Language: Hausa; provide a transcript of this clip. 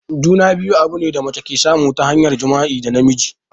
Juna-biyu abune da mace ke samu ta hanyar jima'i da namiji.